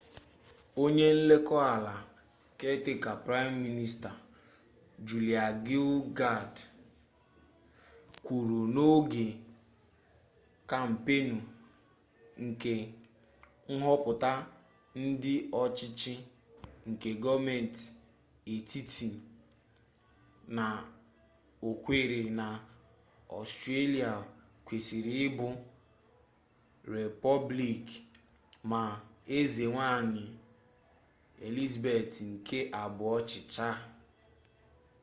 onye nlekota ala caretaker prime minister julia gillard kwuru n’oge kampeenu nke nhoputa ndi ochichi nke goomenti etiti na okwere na australia kwesiri ibu repoblik ma eze nwanyi elizabeth nke abuo chicha